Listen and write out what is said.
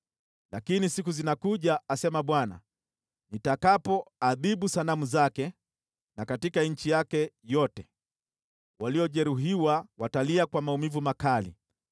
“Lakini siku zinakuja,” asema Bwana , “nitakapoadhibu sanamu zake, na katika nchi yake yote waliojeruhiwa watalia kwa maumivu makali.